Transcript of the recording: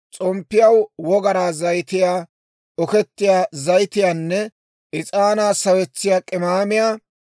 s'omppiyaw wogaraa zayitiyaa, okettiyaa zayitiyaanne is'aanaa sawetsiyaa k'imaamiyaa;